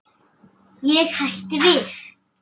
Ég hætti við.